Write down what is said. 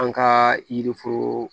An ka yiri foro